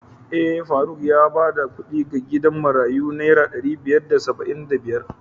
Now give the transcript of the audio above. Eh, faruk yayi bada kuɗi ga gidan marayun naira ɗari biyar da saba'in da biyar.